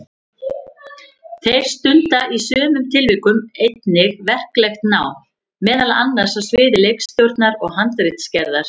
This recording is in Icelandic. Þeir stunda í sumum tilvikum einnig verklegt nám, meðal annars á sviði leikstjórnar eða handritsgerðar.